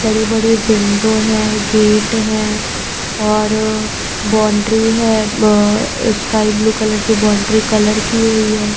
बड़ी-बड़ी विंडो हैं गेट हैं और बाउंड्री है अ स्काई ब्लू कलर की बाउंड्री कलर की हुई है।